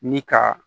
Ni ka